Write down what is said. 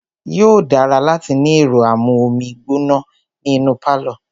Yóò dára láti ní ẹ̀rọ amú omi gbóná ní inú pálọ̀.